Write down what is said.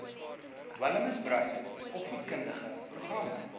dwelmmisbruik opvoedkundige programme